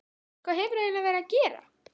Hvað hefur þú eiginlega verið að gera?